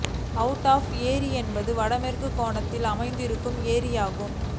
Wood of ஏரி என்பது வடமேற்கு கோணம் அமைந்திருக்கும் ஏரியாகும்